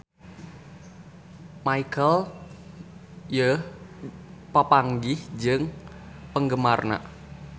Michelle Yeoh papanggih jeung penggemarna